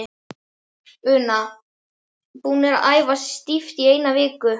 Una: Búnir að æfa stíft í eina viku?